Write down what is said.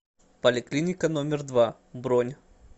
поликлиника номер два бронь